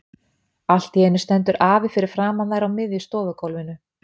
Allt í einu stendur afi fyrir framan þær á miðju stofugólfinu.